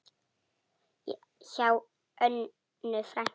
Hjá Önnu frænku.